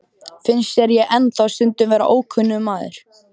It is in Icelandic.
Finnst þér ég ennþá stundum vera ókunnugur maður?